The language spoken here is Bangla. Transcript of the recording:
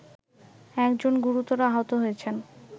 একজন গুরুতর আহত হয়েছেন